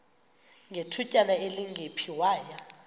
ngethutyana elingephi waya